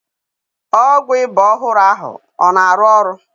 Ọgwụ iba ọhụrụ ahụ ọ na arụ?